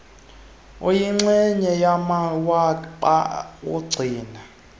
ayingxenye yamawaba agcina